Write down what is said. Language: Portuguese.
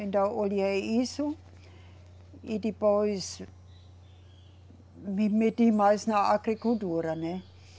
Então, olhei isso e depois me meti mais na agricultura, né?